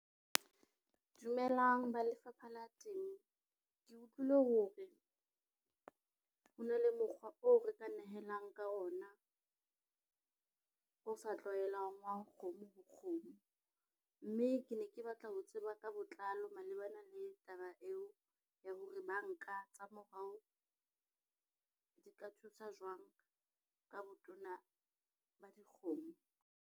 Dumelang ba lefapha la temo. Ke utlwile ho re ho na le mokgwa oo re ka nehelang ka ona o sa tlwaelang wa kgomo ho kgomo. Mme ke ne ke batla ho tseba ka botlalo malebana le taba eo ya hore banka tsa morao di ka thusa jwang ka botona ba dikgomo?